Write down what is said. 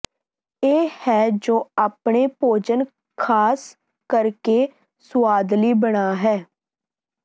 ਇਹ ਹੈ ਜੋ ਆਪਣੇ ਭੋਜਨ ਖਾਸ ਕਰਕੇ ਸੁਆਦਲੀ ਬਣਾ ਹੈ